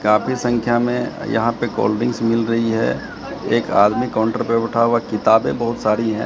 काफी संख्या में यहां पे कोल्ड ड्रिंक्स मिल रही है एक आदमी काउंटर पे बैठा हुआ है किताबें बहुत सारी हैं।